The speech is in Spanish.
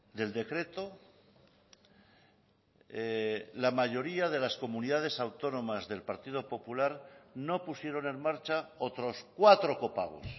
del decreto la mayoría de las comunidades autónomas del partido popular no pusieron en marcha otros cuatro copagos